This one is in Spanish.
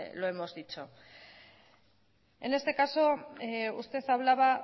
lo hemos dicho en este caso usted hablaba